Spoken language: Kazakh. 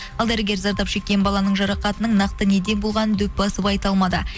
ал дәрігер зардап шеккен баланың жарақатының нақты неден болғанын дөп басып айта алмады